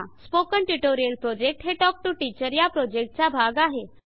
spoken tutorial project हे talk to teacher या प्रॉजेक्टचा भाग आहे